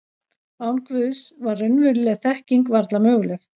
Án Guðs var raunveruleg þekking varla möguleg.